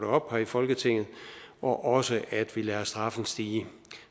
op her i folketinget og også at vi lader straffen stige